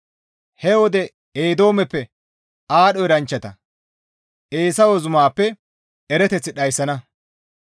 «He wode Eedoomeppe aadho eranchchata, Eesawe zumaappe erateth dhayssana.